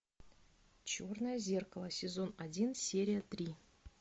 черное зеркало сезон один серия три